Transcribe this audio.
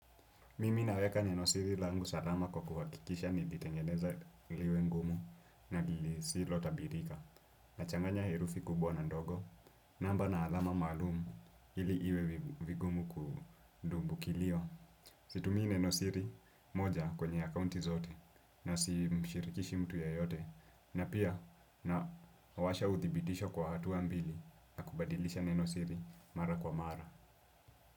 Mimi naweka nenosiri langu salama kwa kuhakikisha nilitengeneza liwe ngumu na lisilo tabirika. Nachanganya herufi kubwa na ndogo, namba na alama maalumu ili iwe vigumu kudumbu kilio. Situmii nenosiri moja kwenye accounti zote na simshirikishi mtu yeyote na pia na washa uthibitisho kwa hatua mbili na kubadilisha nenosiri mara kwa mara.